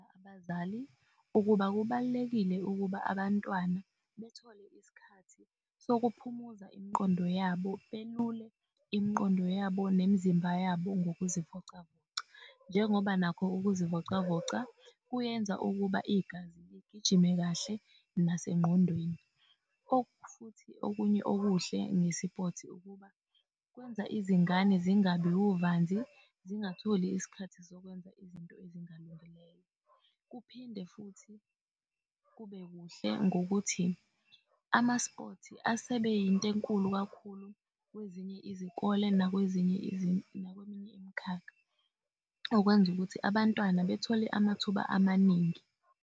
Abazali ukuba kubalulekile ukuba abantwana bethole isikhathi sokuphumuza imiqondo yabo belule imiqondo yabo nemzimba yabo ngokuzivocavoca njengoba nakho ukuzivocavoca kuyenza ukuba igazi ligijime kahle nasengqondweni. Futhi okunye okuhle ngesipothi ukuba kwenza izingane zingabi huvanzi, zingatholi isikhathi sokwenza izinto ezingalungileyo. Kuphinde futhi kube kuhle ngokuthi amaspothi asebeyinto enkulu kakhulu, kwezinye izikole nakweminye imikhakha, okwenza ukuthi abantwana bethole amathuba amaningi.